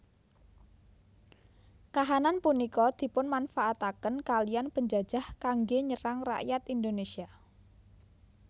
Kahanan punika dipunmanfaataken kaliyan penjajah kanggé nyerang rakyat Indonésia